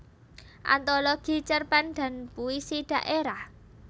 Antologi Cerpen dan Puisi Daerah